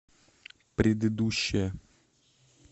предыдущая